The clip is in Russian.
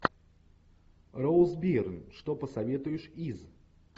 роуз бирн что посоветуешь из